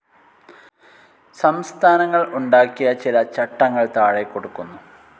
സംസ്ഥാനങ്ങൾ ഉണ്ടാക്കിയ ചില ചട്ടങ്ങൾ താഴെ കൊടുക്കുന്നു.